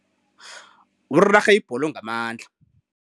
Urarhe ibholo ngamandla.